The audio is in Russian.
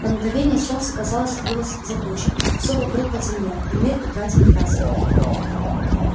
на мгновение солнце казалось скрылось за тучей всё вокруг потемнело и мир утратил краски